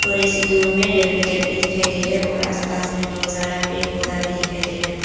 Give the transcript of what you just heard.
थोड़े से दूर में रेलवे ट्रैक भी दिखाई दे रहा और आस पास में बहुत सारा पेड़ पौधा भी दिखाई दे रहा है।